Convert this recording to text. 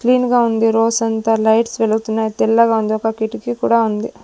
Clean గా ఉంది రోసంతా లైట్స్ వెలుగుతున్నాయ్ తెల్లగా ఉంది ఒక కిటికీ కూడా ఉంది.